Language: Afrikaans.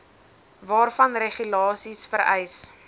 waarvan regulasies vereis